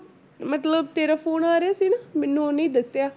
ਮਤਲਬ ਤੇਰਾ phone ਆ ਰਿਹਾ ਸੀ ਨਾ ਮੈਨੂੰ ਉਹਨੇ ਹੀ ਦੱਸਿਆ।